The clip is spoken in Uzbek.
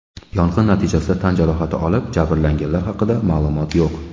Yong‘in natijasida tan jarohati olib, jabrlanganlar haqida ma’lumot yo‘q.